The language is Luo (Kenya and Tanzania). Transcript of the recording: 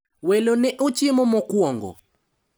Welo ne ochiemo mokwongo.